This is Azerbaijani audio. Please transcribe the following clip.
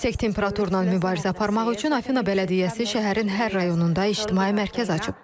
Yüksək temperaturla mübarizə aparmaq üçün Afina bələdiyyəsi şəhərin hər rayonunda ictimai mərkəz açıb.